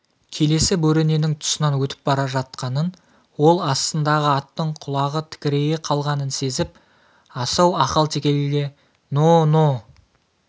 келесі бөрененің тұсынан өтіп бара жатқанын ол астындағы аттың құлағы тікірейе қалғанын сезіп асау ақалтекеге но-но